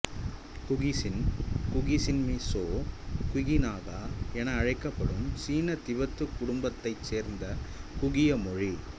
குகிசின் குகிசின்மிசோ குகிநாகா என அழைக்கப்படும் சீன திபெத்து குடும்பத்தைச் சேர்ந்த குகிய மொழி